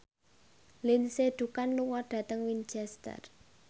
Lindsay Ducan lunga dhateng Winchester